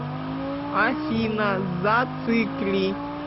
афина зацикли